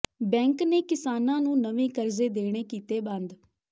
bank ਨੇ ਕਿਸਾਨਾਂ ਨੂੰ ਨਵੇਂ ਕਰਜ਼ੇ ਦੇਣੇ ਕੀਤੇ ਬੰਦ